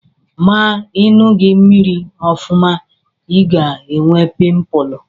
Ma Ị ṅughị mmiri ọfụma, ị ga-enwe pịmpụl.